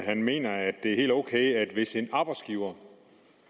han mener at det er helt ok hvis en arbejdsgiver